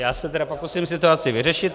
Já se tedy pokusím situaci vyřešit.